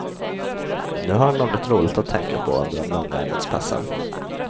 Nu har han något roligt att tänka på under de långa arbetspassen.